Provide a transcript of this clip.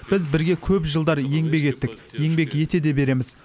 біз бірге көп жылдар еңбек еттік еңбек ете де береміз